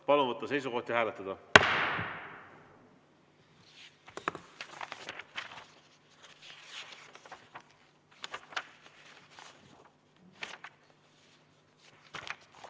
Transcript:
Palun võtta seisukoht ja hääletada!